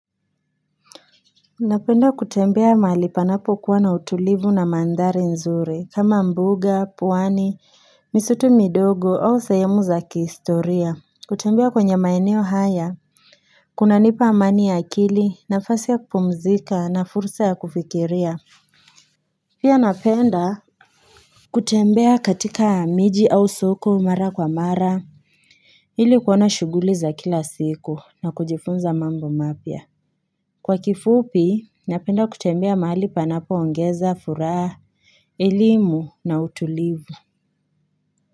Napenda kutembea mahali panapokuwa na utulivu na mandhari nzuri kama mbuga pwani misitu midogo au sehemu za kihistoria kutembea kwenye maeneo haya kunanipa amani ya akili nafasi ya kupumzika na fursa ya kufikiria Pia napenda kutembea katika miji au soko mara kwa mara ili kuona shughuli za kila siku na kujifunza mambo mapya Kwa kifupi, napenda kutembea mahali panapoongeza, furaha, elimu na utulivu.